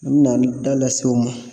N bɛna n da lase u ma